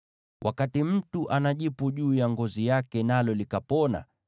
“Wakati mtu ana jipu juu ya ngozi yake nalo likapona,